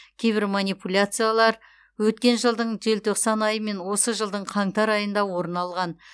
кейбір манипуляциялар өткен жылдың желтоқсан айы мен осы жылдың қаңтар айында орын алған